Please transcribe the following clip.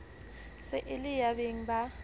se e le yabeng ba